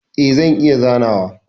E, zan iya zanawa.